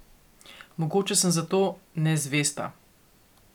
Mogoče sem zato nezvesta.